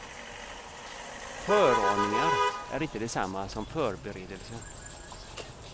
Föraningar är inte detsamma som förberedelse.